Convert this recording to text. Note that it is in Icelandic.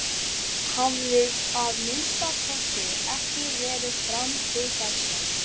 Hafði að minnsta kosti ekki verið fram til þessa.